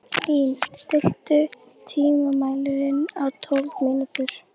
Lín, stilltu tímamælinn á tólf mínútur.